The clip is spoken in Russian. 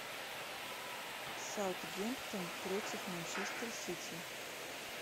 саутгемптон против манчестер сити